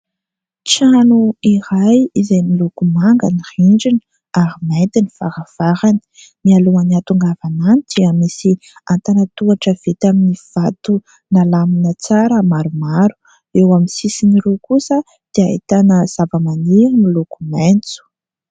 Trano iray izay miloko manga ny rindrina ary mainty ny varavarana. Mialohan'ny ahatongavana any dia misy an-tanan-tohatra vita amin'ny vato nalamina tsara maromaro. Eo amin'ny sisin'ireo kosa dia ahitana zavamaniry miloko maitso.